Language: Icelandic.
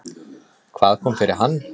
Hvað kom fyrir hann?